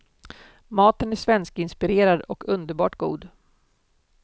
Maten är svenskinspirerad och underbart god.